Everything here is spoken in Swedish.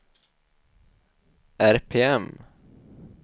RPM